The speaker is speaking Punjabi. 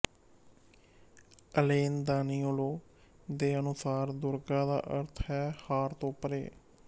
ਅਲੇਨ ਦਾਨੀਓਲੋ ਦੇ ਅਨੁਸਾਰ ਦੁਰਗਾ ਦਾ ਅਰਥ ਹੈ ਹਾਰ ਤੋਂ ਪਰੇ